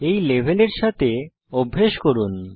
এই লেভেলের সাথে অভ্যাস করুন